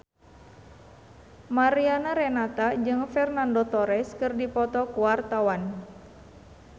Mariana Renata jeung Fernando Torres keur dipoto ku wartawan